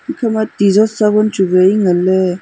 ekhama tijot sabon chu wai nganley.